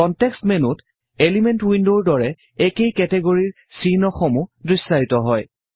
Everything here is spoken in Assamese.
কন্টেক্সট মেনুত এলিমেন্ট উইন্ডৰ দৰে একেই কেটেগৰিৰ চিহ্ন সমূহ দৃশ্যায়িত হয়